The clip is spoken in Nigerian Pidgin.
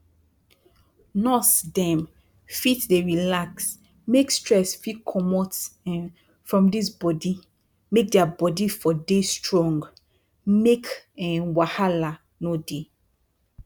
nurse dem fit dey relax make stress fit comot um from dis bodi make dia bodi for dey strong make um wahala no dey